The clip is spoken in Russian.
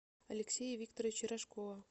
алексея викторовича рожкова